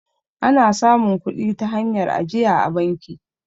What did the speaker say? ana samun kudi ta hanyar ajiya a banki